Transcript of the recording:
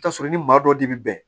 I bi t'a sɔrɔ i ma dɔw de bi bɛn